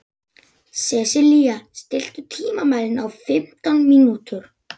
Sesilía, stilltu tímamælinn á fimmtán mínútur.